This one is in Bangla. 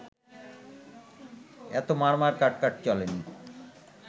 এত মারমার কাটকাট চলেনি